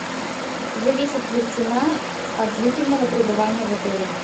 зависит ли цена от длительного прибывания в отеле